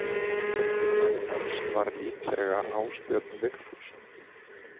Eftirmaður hans var líklega Ásbjörn Vigfússon.